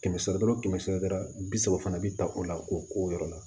Kɛmɛ sara o kɛmɛ sara bi saba fana bi ta o la k'o k'o yɔrɔ la